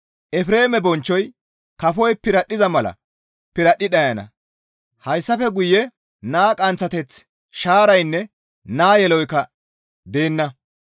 Efreeme bonchchoy kafoy piradhdhiza mala piradhdhi dhayana; hayssafe guye naa qanththateththi, shaaraynne naa yeloykka deenna.